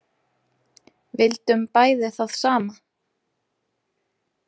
Vildum bæði það sama.